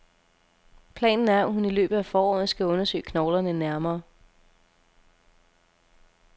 Planen er, at hun i løbet af foråret skal undersøge knoglerne nærmere.